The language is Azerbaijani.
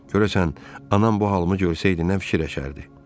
Görəsən anam bu halımı görsəydi nə fikirləşərdi?